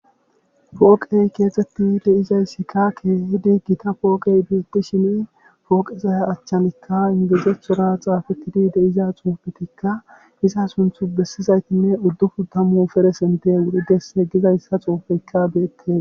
Pooqey keexettidi dizayssika keehidi gita pooqey beettishin pooqeza achanikka inggilizethora xaafettidi de7iza xuufetikkka iza sunthu bessizaytinne uddufun tammu persentte wuridese gizayssa xuufeyka beetees.